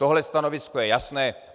Tohle stanovisko je jasné.